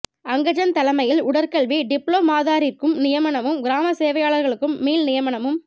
அங்கஜன் தலைமையில் உடற்கல்வி டிப்ளோமாதாரிற்கும் நியமனமும் கிராம சேவையாளர்களுக்கும் மீள்நியமனமும்